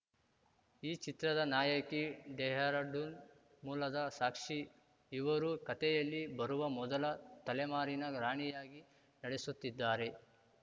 ಈ ಚಿತ್ರದ ನಾಯಕಿ ಡೆಹರಡೂನ್‌ ಮೂಲದ ಸಾಕ್ಷಿ ಇವರು ಕತೆಯಲ್ಲಿ ಬರುವ ಮೊದಲ ತಲೆಮಾರಿನ ರಾಣಿಯಾಗಿ ನಡೆಸುತ್ತಿದ್ದಾರೆ